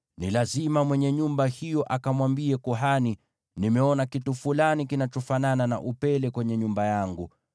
ni lazima mwenye nyumba hiyo akamwambie kuhani, ‘Nimeona kitu fulani kinachofanana na upele kwenye nyumba yangu.’